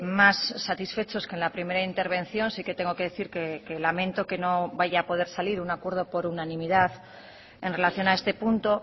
más satisfechos que en la primera intervención sí que tengo que decir que lamento que no vaya a poder salir un acuerdo por unanimidad en relación a este punto